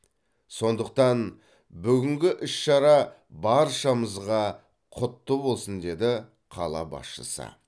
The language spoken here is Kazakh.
сондықтан бүгінгі іс шара баршамызға құтты болсын деді қала басшысы